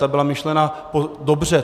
Ta byla myšlena dobře.